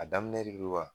A daminɛ lebuwa